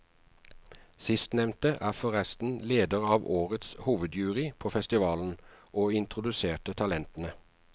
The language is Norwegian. Sistnevnte er forresten leder for årets hovedjury på festivalen, og introduserte talentene.